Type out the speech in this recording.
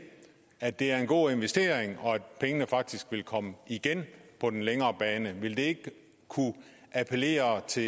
at det er en god investering og at pengene faktisk vil komme igen på den længere bane ikke kunne appellere til